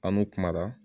An n'u kuma na